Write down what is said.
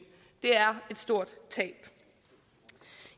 det er et stort tab